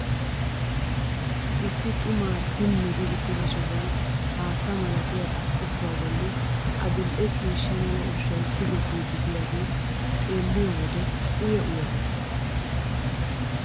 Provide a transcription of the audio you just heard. Issi xumaa dimmi gi uttida sohuwan haatta malatiya burccukkuwa bolli adil'e ciishsha mala ushshay tigettiiddi diyagee xeelliyo wode uya uya ges.